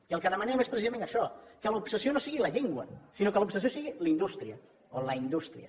i el que demanem és precisament això que l’obsessió no sigui la llengua sinó que l’obsessió sigui la indústria